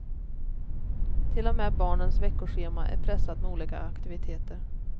Till och med barnens veckoschema är pressat med olika aktiviteter.